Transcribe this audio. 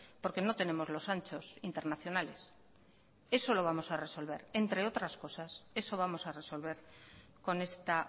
porque no tenemos los anchos internacionales eso lo vamos a resolver entre otras cosas eso vamos a resolver con esta